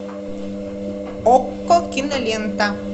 окко кинолента